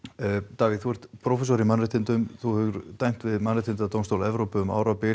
Davíð þú ert prófessor í mannréttindum hefur dæmt við mannréttindadómstól Evrópu um árabil